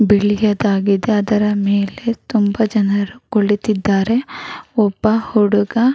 ಬಿಳಿಯದಾಗಿದೆ ಅದರ ಮೇಲೆ ತುಂಬಾ ಜನರು ಕುಳಿತಿದ್ದಾರೆ ಒಬ ಹುಡುಗ --